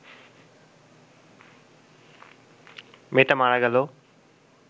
মেয়েটা মারা গেল